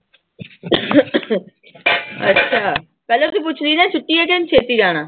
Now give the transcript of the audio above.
ਅੱਛਾ ਪਹਿਲਾਂ ਤੂੰ ਪੁੱਛ ਰਹੀ ਸੀ ਨਾ ਛੁੱਟੀ ਆ ਕਿ ਉਹਨੇ ਛੇਤੀ ਜਾਣਾ।